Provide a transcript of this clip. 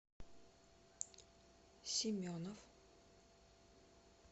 семенов